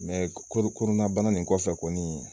ko kɔnɔna bana nin kɔfɛ kɔni